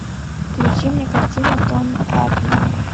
включи мне картину тони эрдманн